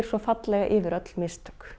yfir öll mistök